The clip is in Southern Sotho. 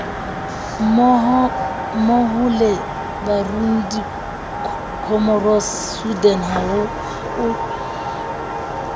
mmohole burundi comoros sudan haolo